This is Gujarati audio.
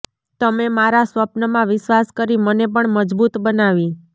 તમે મારા સ્વપ્નમાં વિશ્વાસ કરી મને પણ મજબુત બનાવી